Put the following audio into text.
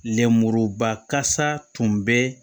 Lenmuruba kasa tun bɛ